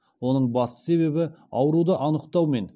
оның басты себебі ауруды анықтаумен